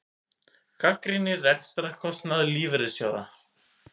Gagnrýnir rekstrarkostnað lífeyrissjóða